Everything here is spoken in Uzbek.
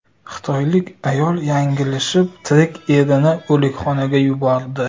Xitoylik ayol yanglishib tirik erini o‘likxonaga yubordi.